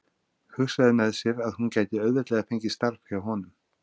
Hugsaði með sér að hún gæti auðveldlega fengið starf hjá honum.